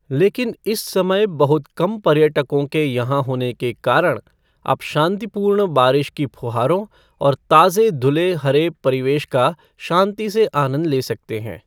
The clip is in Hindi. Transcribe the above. लेकिन इस समय बहुत कम पर्यटकों के यहाँ होने के कारण, आप शांतिपूर्ण बारिश की फुहारों और ताज़े धुले हरे परिवेश का शांति से आनंद ले सकते हैं।